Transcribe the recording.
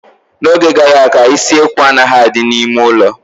N'oge gara aga, isekwu anaghị adị n'ime ụlọ